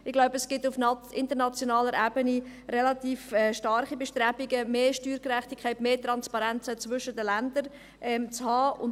Ich denke, es gibt auf internationaler Ebene relativ starke Bestrebungen, mehr Steuergerechtigkeit, auch mehr Transparenz zwischen den Ländern zu haben.